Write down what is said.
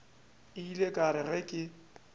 ile ka re ge ke